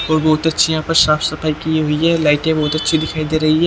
और बहुत अच्छी यहाँ पर साफ सफाई की हुई है लाइटें बहुत अच्छी दिखाई दे रही है।